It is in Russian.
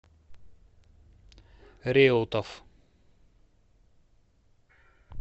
реутов